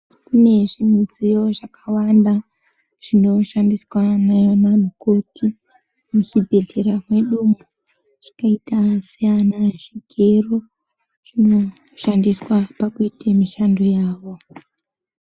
Kune zvimidziyo zvakawanda zvinoshandiswa nemakhoti muzvibhedhlera mwedumwo zvakaita seana zvigero, zvinoshandiswa pakuite mishando yavo.